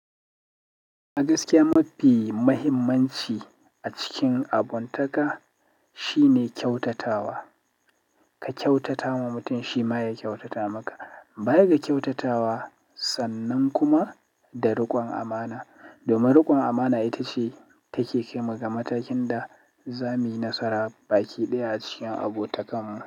A gaskiya mafi muhimmanci a cikin abotaka shine kyautatawa. Ka kyautata wa mutum shi ma ya kyautata maka. Baya ga kyautatawa, sannan kuma da riƙon amans domin riƙon amana ita ce take kai mu ga matakin da za muyi nasara baki ɗaya acikin abotakarmu.